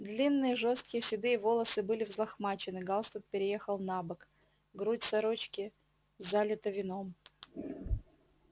длинные жёсткие седые волосы были взлохмачены галстук переехал набок грудь сорочки залита вином